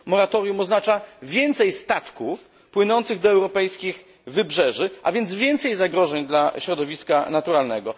Moratorium oznacza więcej statków płynących do europejskich wybrzeży, a więc więcej zagrożeń dla środowiska naturalnego.